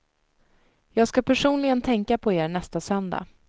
Jag ska personligen tänka på er nästa söndag.